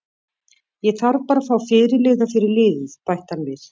Ég þarf bara að fá fyrirliða fyrir liðið, bætti hann við.